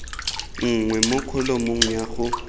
nngwe mo kholomong ya go